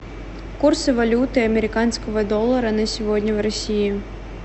курсы валюты американского доллара на сегодня в россии